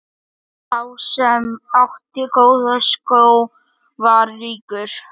Sá sem átti góða skó var ríkur.